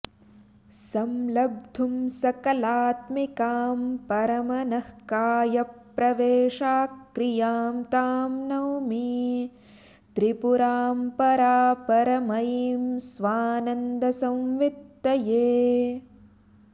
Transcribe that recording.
संलब्धुं सकलात्मिकां परमनःकायप्रवेशाक्रियां तां नौमि त्रिपुरां परापरमयीं स्वानन्दसंवित्तये